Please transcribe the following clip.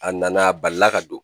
A nana, a balila ka don,